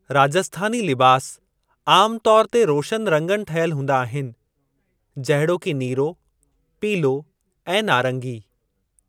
राजस्थानी लिबास आमु तौर ते रोशनु रंगनि ठहियल हूंदा आहिनि, जहिड़ोकि नीरो, पीलो ऐं नारंगी।